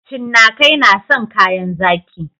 Cinnakai na san kayan zaƙi